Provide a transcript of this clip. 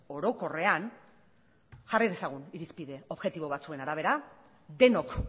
orokorrean jarri dezagun irizpide objektibo batzuen arabera denok